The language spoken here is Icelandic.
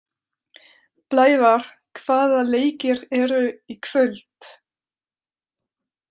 Blævar, hvaða leikir eru í kvöld?